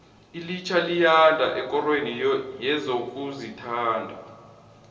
ilitjha liyanda ekorweni yezokuzithabisa